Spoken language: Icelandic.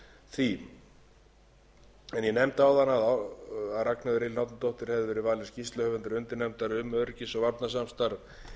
því ég nefndi áðan að háttvirtur þingmaður ragnheiður elín árnadóttir hefði verið valin skýrsluhöfundur undirnefndar um öryggis og varnarsamstarf